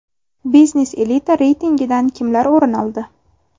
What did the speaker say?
Biznes elita reytingidan kimlar o‘rin oldi?